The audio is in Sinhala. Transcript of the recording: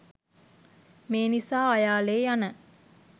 මේ නිසා අයාලේ යන